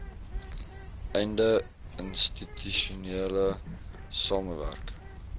einde institusionele samewerk